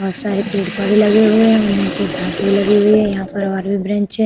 बोहोत सारे पेड़-पौधे लगे हुए है और नीचे घास भी लगी हुई है। यहां पर और भी ब्रेंच है।